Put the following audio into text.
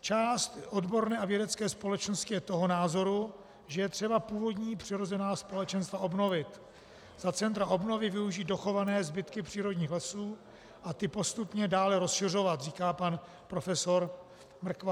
Část odborné a vědecké společnosti je toho názoru, že je třeba původní přirozená společenstva obnovit, za centra obnovy využít dochované zbytky přírodních lesů a ty postupně dále rozšiřovat, říká pan profesor Mrkva.